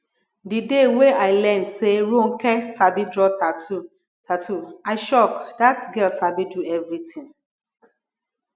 the day wey i learn say ronke sabi draw tattoo tattoo i shock dat girl sabi do everything